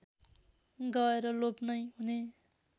गएर लोप नै हुने